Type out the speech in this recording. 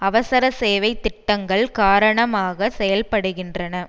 அவசரசேவை திட்டங்கள் காரணமாக செயல்படுகின்றன